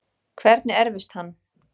Hvernig erfist hann?